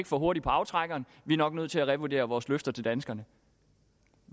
for hurtige på aftrækkeren vi er nok nødt til at revurdere vores løfter til danskerne